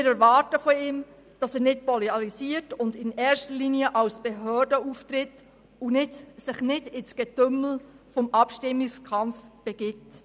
Wir erwarten von ihm, dass er nicht polarisiert und in erster Linie als Behörde auftritt und sich nicht in das Getümmel des Abstimmungskampfes begibt.